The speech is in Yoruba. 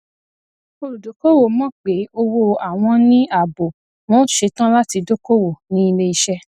olùdókoòwò mọ pé òwò àwọn ní ààbò wọn ó ṣetán láti dókoòwò ní iléiṣẹ